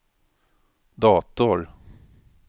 dator